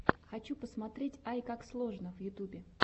хочу посмотреть айкаксложно в ютюбе